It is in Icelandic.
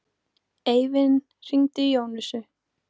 Eivin, hringdu í Jónösu.